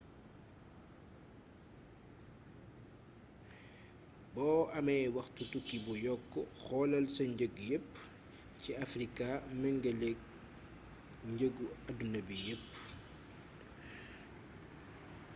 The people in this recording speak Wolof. bo amé waxtu tukki bu yokk xoolal sa njëg yepp ci africa méngeelék njeegu adduna bi yeepp